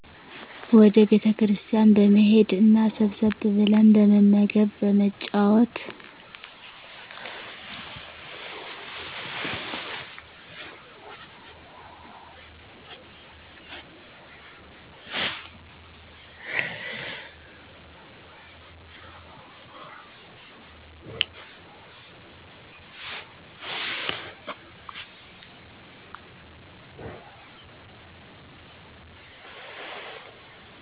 ወደ ቤተክርስቲያን በመሔድ እና ሰብሰብ ብለን በመመገብ በመጫወት